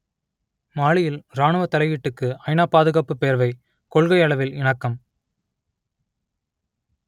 மாலியில் இராணுவத் தலையீட்டுக்கு ஐநா பாதுகாப்புப் பேரவை கொள்கையளவில் இணக்கம்